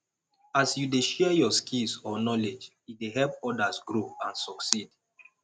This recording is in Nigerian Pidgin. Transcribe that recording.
as you dey share yur skills or knowledge e dey help odas grow and succeed